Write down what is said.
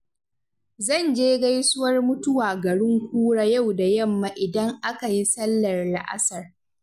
Zan je gaisuwar mutuwa garin kura yau da yamma idan aka yi sallar la'asar.